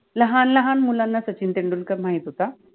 लहान लहान मुलाना सचिन तेंडुलकर माहित होता